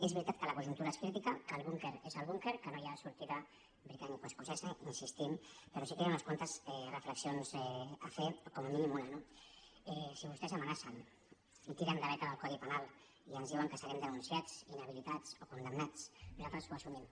és veritat que la conjuntura és crítica que el búnquer és el búnquer que no hi ha sortida britanicoescocesa hi insistim però sí que hi ha unes quantes reflexions a fer o com a mínim una no si vostès amenacen i tiren de beta del codi penal i ens diuen que serem denun ciats inhabilitats o condemnats nosaltres ho assumim